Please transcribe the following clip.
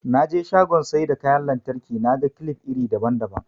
Naje shagon saida kyan lantraki naga kilif iri daban daban